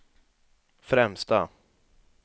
främsta